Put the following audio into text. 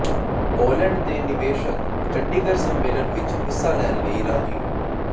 Poland ਦੇ ਨਿਵੇਸ਼ਕ ਚੰਡੀਗੜ੍ਹ ਸੰਮੇਲਨ ਵਿੱਚ ਹਿੱਸਾ ਲੈਣ ਲਈ ਰਾਜ਼ੀ